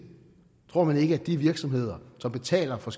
tror man ikke at de virksomheder som betaler for